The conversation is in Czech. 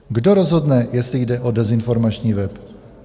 "Kdo rozhodne, jestli jde o dezinformační web?"